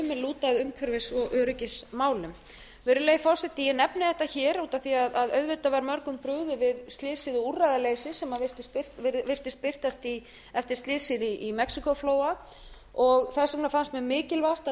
lúta að umhverfis og öryggismálum virðulegi forseti ég nefni þetta hér út af því að auðvitað var mörgum brugðið við slysið og úrræðaleysið sem virtist birtast eftir slysið í mexíkóflóa og þess vegna fannst mér mikilvægt að